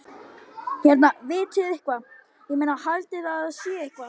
Hérna, vitiði eitthvað. ég meina, haldiði að það sé eitthvað.